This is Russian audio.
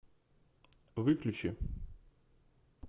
выключи